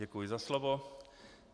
Děkuji za slovo.